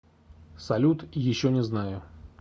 салют еще не знаю